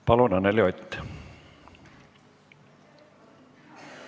Palun, Anneli Ott!